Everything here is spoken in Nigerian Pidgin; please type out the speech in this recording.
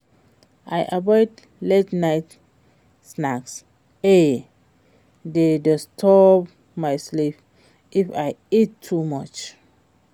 I avoid late-night snack, e dey disturb my sleep if I eat too much.